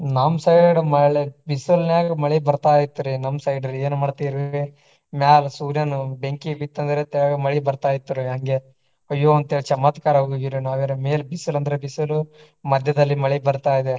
ನಮ್ಮ side ಮಳೆ ಬಿಸಿಲನ್ಯಾಗ ಮಳಿ ಬರ್ತಾ ಇತ್ರಿ ನಮ್ಮ side ರಿ ಏನ ಮಾಡ್ತೇರಿ. ಮ್ಯಾಲ ಸೂರ್ಯಾನು ಬೆಂಕಿ ಬಿತ್ತ ಅಂದ್ರ ತೆಳಗ ಮಳಿ ಬರ್ತಾ ಇತ್ರಿ ಹಂಗೆ. ಅಯ್ಯೋ ಅಂತ ಹೇಳಿ ಚಮತ್ಕಾರ ಆಗಿ ಹೋಗಿವ್ರಿ ನಾವರಾ ಮೇಲೆ ಬಿಸಿಲು ಅಂದ್ರ ಬಿಸಿಲು ಮದ್ಯದಲ್ಲಿ ಮಳೆ ಬರ್ತಾಯಿದೆ.